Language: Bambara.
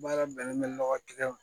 Baara bɛnnen bɛ nɔgɔ kɛlɛ ma